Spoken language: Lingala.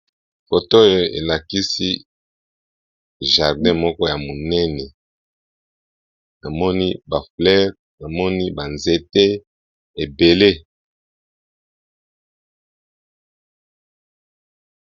Foto oyo elakisi jardin moko ya monene namoni ba fleure namoni ba nzete ebele.